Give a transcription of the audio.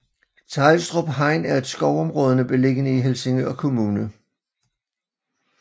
Teglstrup Hegn er et skovområde beliggende i Helsingør Kommune